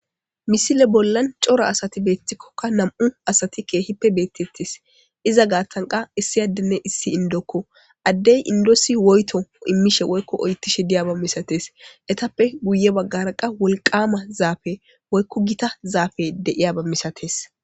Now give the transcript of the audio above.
Misile bola c'ora asati betikoka nam'u asati kehippe betetes iza gatan qa issi adene issi indoko adey indosi woyto imishe woyko oytishe diyaba misates etappe guye bagara qa wolqama zafe woyko gita zafe de'iyaba misates.